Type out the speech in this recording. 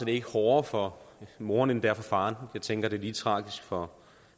ikke hårdere for moren end det er for faren jeg tænker det lige tragisk for